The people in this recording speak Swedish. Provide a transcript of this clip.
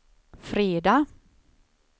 fredag